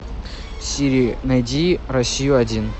сири найди россию один